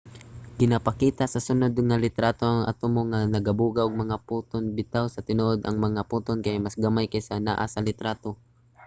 ginapakita sa sunod nga litrato ang mga atomo nga nagabuga og mga photon. bitaw sa tinuod ang mga photon kay mas gamay kaysa sa naa sa litrato